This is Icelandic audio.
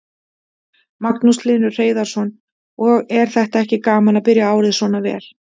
Magnús Hlynur Hreiðarsson: Og er þetta ekki gaman að byrja árið svona vel?